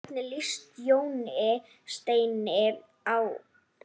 Hvernig líst Jóni Steini á?